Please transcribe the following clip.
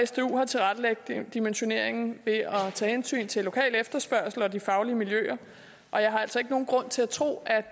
sdu har tilrettelagt dimensioneringen ved at tage hensyn til lokal efterspørgsel og de faglige miljøer og jeg har altså ikke nogen grund til at tro at